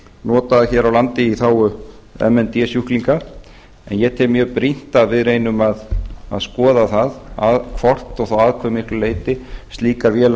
notaðar hér á landi í þágu m n d sjúklinga en ég tel mjög brýnt að við reynum að skoða það hvort og þá að hve miklu leyti slíkar vélar